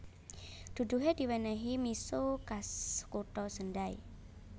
Duduhe diwenehi miso khas kutha Sendai